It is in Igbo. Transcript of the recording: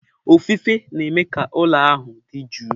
Ofufe na-eme ka ụlọ ahụ dị jụụ.